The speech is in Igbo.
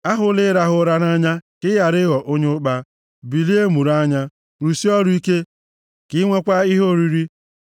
Ahụla ịrahụ ụra nʼanya, ka ị ghara ịghọ onye ụkpa. Bilie, mụrụ anya, rụsie ọrụ ike, ka i nweekwa ihe oriri.